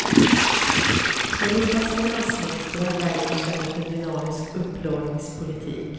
Europas finansministrar värjer sig mot en dynamisk upplåningspolitik.